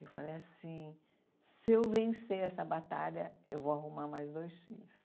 Eu falei assim, se eu vencer essa batalha, eu vou arrumar mais dois filhos.